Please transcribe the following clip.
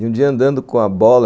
E um dia andando com a bola...